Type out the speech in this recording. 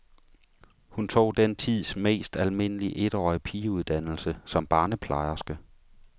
Hun tog den tids mest almindelige etårige pigeuddannelse, som barneplejerske.